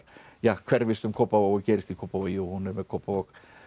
hverfist um Kópavog og gerist í Kópavogi og hún er með Kópavog